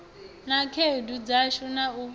na khaedu dzashu na u